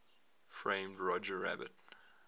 framed roger rabbit